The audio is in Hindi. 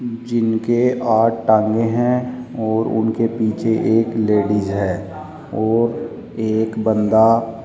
जिनके आठ टांगें हैं और उनके पीछे एक लेडिज है और एक बंदा --